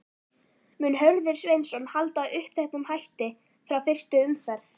Mun Hörður Sveinsson halda uppteknum hætti frá fyrstu umferð?